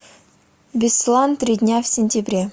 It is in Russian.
беслан три дня в сентябре